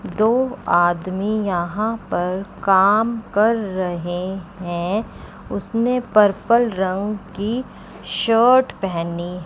दो आदमी यहां पर काम कर रहे हैं उसने पर्पल रंग की शर्ट पहनी--